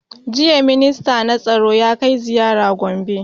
Jiya minsta na tsaro ya kai ziyara gombe